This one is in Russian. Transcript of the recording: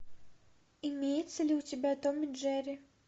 имеется ли у тебя том и джерри